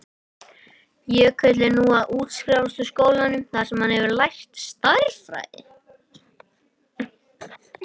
Jökull er nú að útskrifast úr skólanum þar sem hann hefur lært stærðfræði.